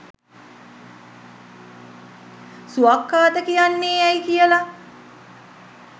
ස්වාක්ඛාත කියන්නේ ඇයි කියලා